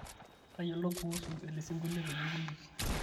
toyiolo kuusu ele sinkolio peyie kiliki